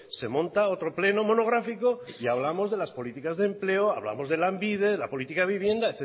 se monta otro pleno monográfico y hablamos de las políticas de empleo hablamos de lanbide de la política de vivienda